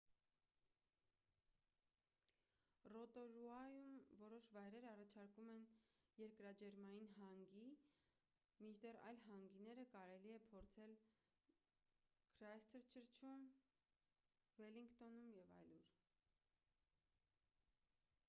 ռոտորուայում որոշ վայրեր առաջարկում են երկրաջերմային հանգի մինչդեռ այլ հանգիները կարելի է փորձել քրայսթչըրչում վելլինգտոնում և այլուր